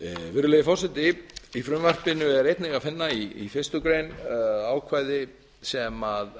virðulegi forseti í frumvarpinu er einnig að finna í fyrstu grein ákvæði sem